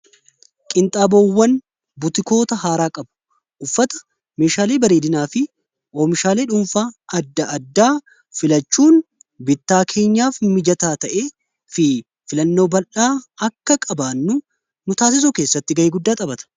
qinxaaboowwan butikoota haaraa qabu uffata meeshaalii bareedinaa fi oomishaalee dhuunfaa addaa filachuun bittaa keenyaaf mijataa ta'e fi filannoo bal'aa akka qabaannu mutaasisoo keessatti ga'ee guddaa xabata